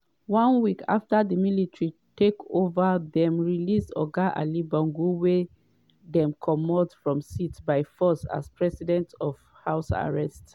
one week afta di military takeova dem release oga ali bongo wey dem comot from seat by force as president from house arrest.